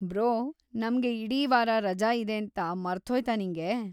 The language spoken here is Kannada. ಬ್ರೋ, ನಮ್ಗೆ ಇಡೀ ವಾರ ರಜ ಇದೇಂತಾ ಮರ್ತ್ಹೋಯ್ತಾ ನಿಂಗೆ?